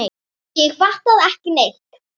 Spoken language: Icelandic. Ég fattaði ekki neitt.